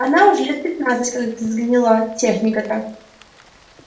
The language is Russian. она уже лет пятнадцать как сгнила техника та